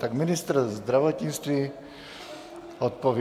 Tak ministr zdravotnictví odpoví.